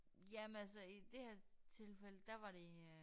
Jamen altså i dét her tilfælde der var det øh